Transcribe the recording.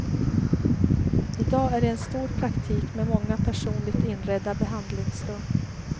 I dag är det en stor praktik med många personligt inredda behandlingsrum.